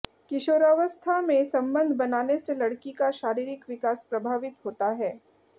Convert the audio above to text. किशोरावस्था में संबंध बनाने से लड़की का शारीरिक विकास प्रभावित होता है